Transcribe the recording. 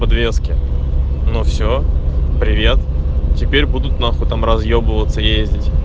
подвески но все привет теперь будут нахуй там разъебываться ездить